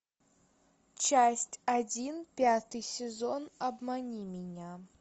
часть один пятый сезон обмани меня